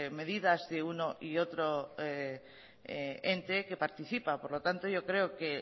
medidas de uno y otro ente que participa por lo tanto yo creo que